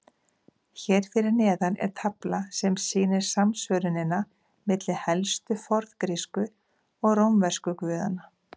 Hér fyrir neðan er tafla sem sýnir samsvörunina milli helstu forngrísku og rómversku guðanna.